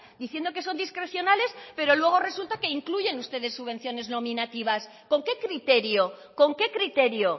diciendo que son discrecionales pero luego resulta que incluyen ustedes subvenciones nominativas con qué criterio con qué criterio